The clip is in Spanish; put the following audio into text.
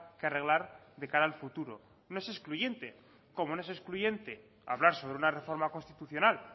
que arreglar de cara al futuro no es excluyente como no es excluyente hablar sobre una reforma constitucional